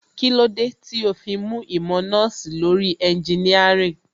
Kílódé tó fi mú ìmọ̀ nọ́ọ̀sì lórí ẹnginíàrìn?